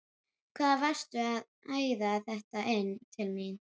HVAÐ VARSTU AÐ ÆÐA ÞETTA INN TIL MÍN!